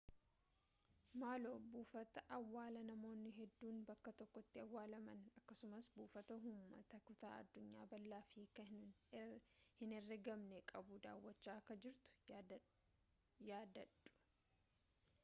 maaloo buufata awwaalaa namoonni hedduun bakka tokkotti awwaalaman akkasumas buufata ummata kutaa addunyaa bal'aaf hiikkaa hin herreegamne qabu daawwachaa akka jirtu yaadadhau